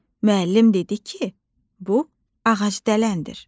Müəllim dedi ki, bu ağacdələndir.